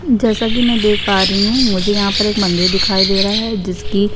जैसा की मैं देख पा रही हूँ मुझे यहाँ एक मंदिर दिखाई दे रहा है जिसकी --